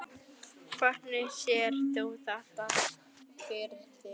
Hvernig sérð þú þetta fyrir þér?